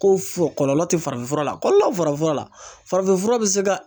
Ko kɔlɔlɔ tɛ farafin fura la , kɔlɔlɔ bɛ farafin fura la , farafinfura bɛ se ka